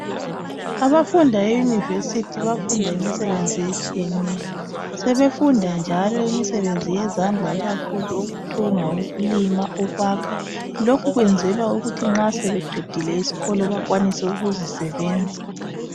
Abafunda emaYunivesi bayafunda imisebenzi etshiyeneyo. Sebefunda njalo imisebenzi yezandla ikakhulu ukuthunga, ukulima, ukwakha. Lokhu kwenzelwa ukuthi nxa sebeqedile isikolo bakwanise ukuzisebenza.